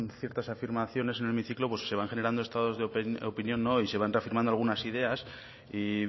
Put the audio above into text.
ciertas afirmaciones en el hemiciclo pues se van generando estados de opinión y se van reafirmando algunas ideas y